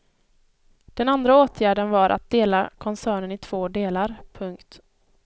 Den andra åtgärden var att dela koncernen i två delar. punkt